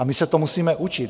A my se to musíme učit .